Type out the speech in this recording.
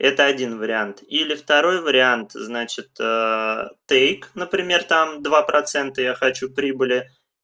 это один вариант или второй вариант значит аа тык например там два процента я хочу прибыли